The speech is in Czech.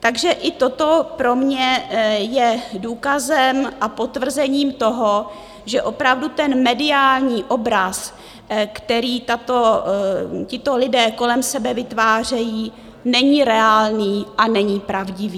Takže i toto pro mě je důkazem a potvrzením toho, že opravdu ten mediální obraz, který tito lidé kolem sebe vytvářejí, není reálný a není pravdivý.